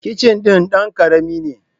Kicin din dan ƙarami ne.